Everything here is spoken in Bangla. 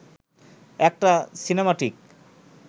একটা সিনেমাটিক